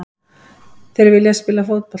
Þeir vilja spila fótbolta.